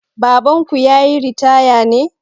Babanku ya yi ritaya ne?